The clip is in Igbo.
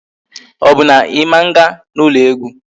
Ọ bụ na Ị ma nga n'ụlọ egwu?